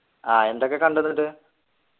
ആഹ് എന്തൊക്കെ കണ്ടു എന്നിട്ട്